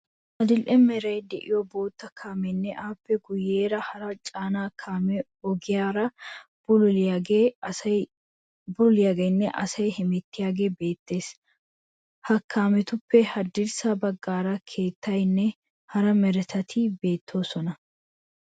Adil"e meray de'iyo botte kaameenne appe guyeera hara caanaa kamee ogiyaara bululiyaagenne asay hemettiyagee beettees. Ha kaametuppe haddirssa baggaara keettayinne hara meretati beettoosona.